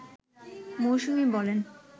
মৌসুমী বলেন